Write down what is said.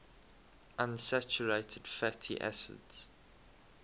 unsaturated fatty acids